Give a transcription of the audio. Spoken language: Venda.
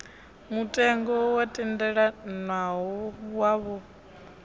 mutengo wo tendelanwaho khawo a